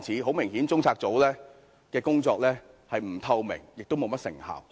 很明顯，中策組的工作既不透明，亦沒甚麼成效。